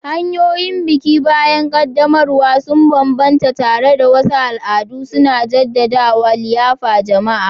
Hanyoyin biki bayan ƙaddamarwa sun bambanta, tare da wasu al'adu suna jaddada liyafar jama'a.